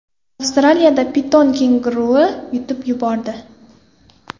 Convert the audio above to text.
Avstraliyada piton kenguruni yutib yubordi .